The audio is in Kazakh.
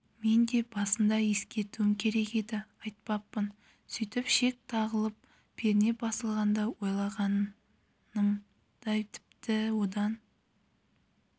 мен де басында ескертуім керек еді айтпаппын сөйтіп шек тағылып перне басылғанда ойлағанымдай тіпті одан